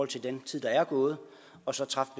til den tid der er gået og så træffe